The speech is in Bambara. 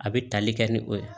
A bɛ tali kɛ ni o ye